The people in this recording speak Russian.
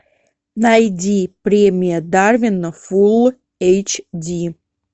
найди премия дарвина фул эйч ди